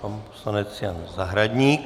Pan poslanec Jan Zahradník.